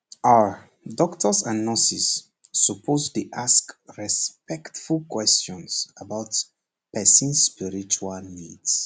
ah doctors and nurses suppose dey ask respectful questions about person spiritual needs